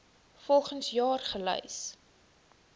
volgens jaar gelys